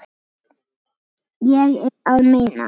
Ég er að meina.